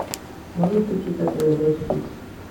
можешь включить на тв бридж хитс